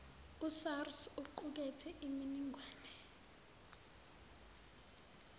usars uqukethe iminingwane